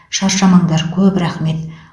шаршамаңдар көп рақмет